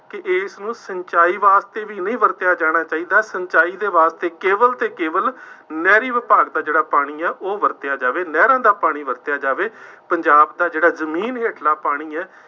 ਕਿ ਇਸਨੂੰ ਸਿੰਚਾਈ ਵਾਸਤੇ ਵੀ ਨਹੀਂ ਵਰਤਿਆ ਜਾਣਾ ਚਾਹੀਦਾ, ਸਿੰਚਾਈ ਦੇ ਵਾਸਤੇ ਕੇਵਲ ਅਤੇ ਕੇਵਲ ਨਹਿਰੀ ਵਿਭਾਗ ਦਾ ਜਿਹੜਾ ਪਾਣੀ ਹੈ ਉਹ ਵਰਤਿਆ ਜਾਵੇ, ਨਹਿਰਾਂ ਦਾ ਪਾਣੀ ਵਰਤਿਆ ਜਾਵੇ, ਪੰਜਾਬ ਦਾ ਜਿਹੜਾ ਜ਼ਮੀਨ ਹੇਠਲਾ ਪਾਣੀ ਹੈ,